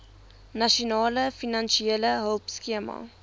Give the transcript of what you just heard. nasionale finansiële hulpskema